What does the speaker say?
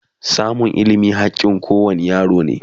samun ilimi hakkin kowane yaro ne